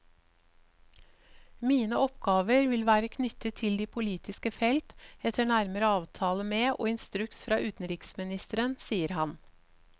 Mine oppgaver vil være knyttet til de politiske felt, etter nærmere avtale med og instruks fra utenriksministeren, sier han.